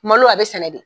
Malo a bɛ sɛnɛ de